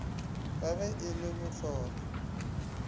ka ge e le bohlola